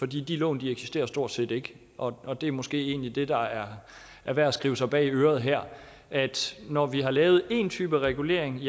de lån eksisterer stort set ikke og det er måske egentlig det der er er værd at skrive sig bag øret her altså at når vi har lavet en type regulering